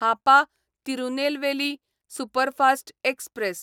Hapa Tirunelveli superfast express